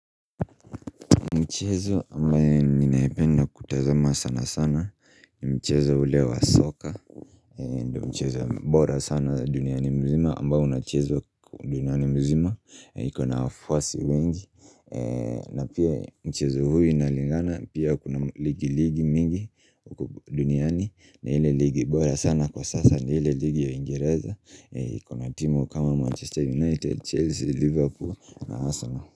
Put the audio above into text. Mchezo ambao ninapenda kutazama sana sana mchezo ule wa soka mchezo bora sana duniani nzima ambao unachezwa duniani mzima uko na wafwasi wengi na pia mchezo huu unalingana pia kuna ligi mingi duniani na ile ligi bora sana kwa sasa na ile ligi ya uingereza kuna timu kama Manchester United, Chelsea, Liverpool na Arsenal.